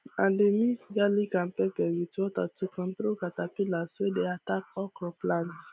i dey mix garlic and pepper with water to control caterpillars wey dey attack okra plants